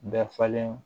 Bɛɛ falen